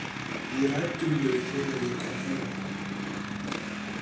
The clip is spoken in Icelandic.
Við ræddum þau þegar ég kom heim.